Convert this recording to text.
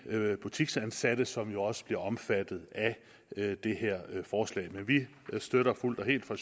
butiksansatte som jo også bliver omfattet af det her forslag men vi støtter fuldt og helt fra